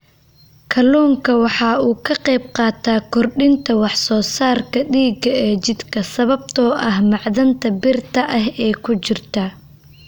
Kalluunku waxa uu ka qaybqaataa kordhinta wax soo saarka dhiigga ee jidhka sababtoo ah macdanta birta ah ee ku jirta.